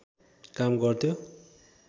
काम गर्थ्यो